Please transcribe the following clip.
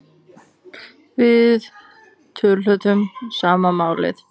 Við töluðum sama málið.